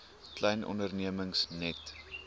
klein ondernemings net